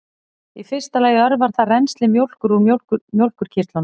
í fyrsta lagi örvar það rennsli mjólkur úr mjólkurkirtlum